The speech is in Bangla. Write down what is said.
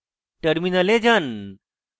terminal যান